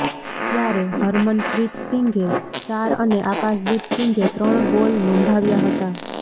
જ્યારે હરમનપ્રીત સિંઘે ચાર અને આકાશદીપ સિંઘે ત્રણ ગોલ નોંધાવ્યા હતા